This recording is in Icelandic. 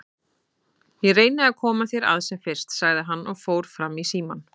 Ég reyni að koma þér að sem fyrst, sagði hann og fór fram í símann.